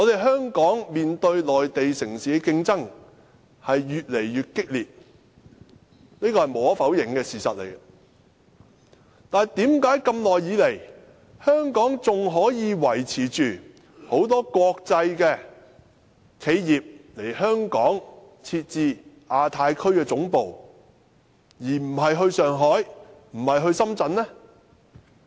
香港面對內地城市的競爭越來越激烈，這是無可否認的事實，但為何長時間以來，仍然有很多國際企業來港設置亞太區總部，而不是到上海或深圳呢？